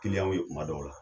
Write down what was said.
Kiliyanw ye kuma dɔw la.